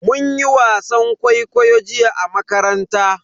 Mun yi wasan kwaikwayo jiya a makaranta.